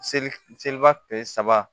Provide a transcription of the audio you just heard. Seli seliba kile saba